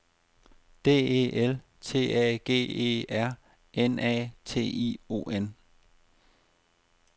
D E L T A G E R N A T I O N